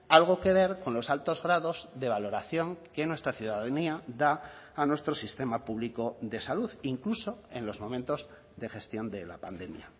algo que ver con los altos grados de valoración que nuestra ciudadanía da a nuestro sistema público de salud incluso en los momentos de gestión de la pandemia